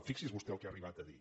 fixi’s vostè el que ha arribat a dir